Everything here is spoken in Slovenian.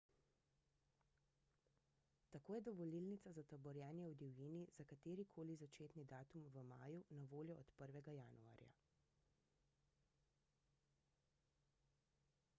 tako je dovolilnica za taborjenje v divjini za katerikoli začetni datum v maju na voljo od 1 januarja